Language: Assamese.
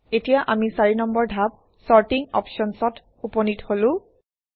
এতিয়া আমি ৪ নম্বৰ ধাপ চৰ্টিং Options অত উপনীত হলো